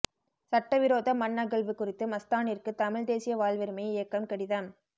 சட்டவிரோத மண் அகழ்வு குறித்து மஸ்தானிற்கு தமிழ் தேசிய வாழ்வுரிமை இயக்கம் கடிதம்